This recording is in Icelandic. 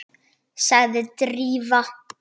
sagði Drífa.